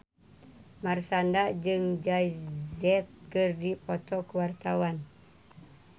Marshanda jeung Jay Z keur dipoto ku wartawan